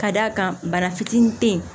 Ka d'a kan bana fitinin te yen